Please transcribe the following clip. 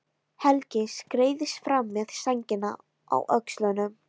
Helgi skreiðist fram með sængina á öxlunum.